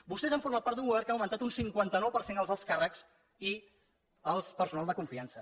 vostès han format part d’un govern que ha augmentat un cinquanta nou per cent els alts càrrecs i el personal de confiança